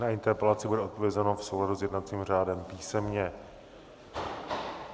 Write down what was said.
Na interpelaci bude odpovězeno v souladu s jednacím řádem písemně.